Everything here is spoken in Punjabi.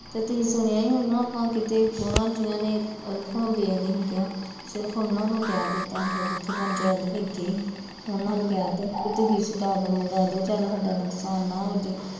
ਤੇ ਤੁਸੀਂ ਸੁਣਿਆ ਈ ਹੋਣਾ ਆਪਾਂ ਕਿਤੇ ਦੋਵਾਂ ਜੀਆ ਨੇ ਵੀ ਨੀ ਕਿਹਾ ਸਿਰਫ਼ ਉਹਨਾ ਨੂੰ ਕਹਿ ਦਿੱਤਾ ਸੀਗਾ ਜਿੱਥੇ ਪੰਚਾਇਤ ਬੈਠੀ ਸੀ, ਉਹਨਾਂ ਨੂੰ ਕਹਿਤਾ ਵੀ ਤੁਸੀਂ ਘਟਾ ਦੋ ਮੁਕਾ ਦੋ ਸਾਡਾ ਕੋਈ ਨੁਕਸਾਨ ਨਾ ਹੋਜੇ